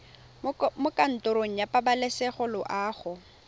mo kantorong ya pabalesego loago